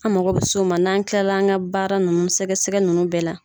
An mako bɛ o ma n'an kila an ka baara ninnu sɛgɛsɛgɛ ninnu bɛɛ la